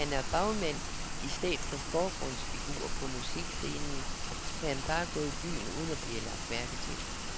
Da han er bagmand i stedet for forgrundsfigur på musikscenen, kan han gå i byen uden at blive lagt mærke til.